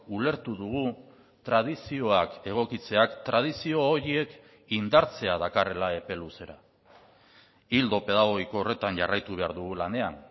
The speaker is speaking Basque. ulertu dugu tradizioak egokitzeak tradizio horiek indartzea dakarrela epe luzera ildo pedagogiko horretan jarraitu behar dugu lanean